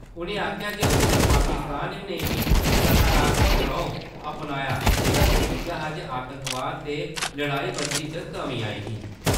उ`नें आक्खेआ जे उसलै पाकिस्तान ने बी सकारात्मक रौं अपनाया जेह्दा नतीजा हा जे आतंकवाद ते लड़ाईबंदी च कमी आई ही।